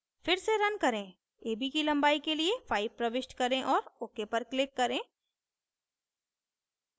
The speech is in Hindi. फिर से रन करें ab की लंबाई के लिए 5 प्रविष्ट करें और ok पर click करें